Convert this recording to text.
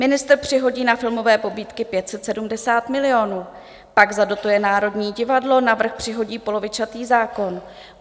Ministr přihodí na filmové pobídky 570 milionů, pak zadotuje Národní divadlo, navrch přihodí polovičatý zákon.